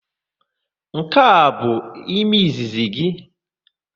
Nke a abụ ime izizi gị?